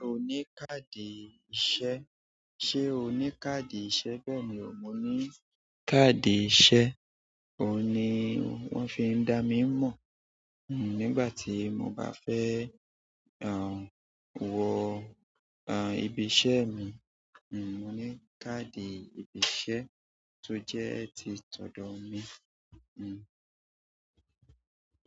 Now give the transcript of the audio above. Ṣé o ní káàdì ìṣe? Ṣé o ní káàdì ìṣe? Bẹ́ẹ̀ ni, mo ní káàdì ìṣe. Ó ní wón fi ń dá mi mọ̀. Nígbà tí mo bá fẹ́, aah, wọ, aah, ibi iṣẹ́ mi, nù, mo ní káàdì ibi iṣẹ́ tó jẹ́ ti tọ̀dọ̀ mi, nù.